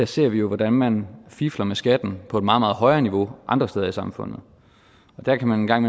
ser vi jo hvordan man fifler med skatten på et meget meget højere niveau andre steder i samfundet og der kan man en gang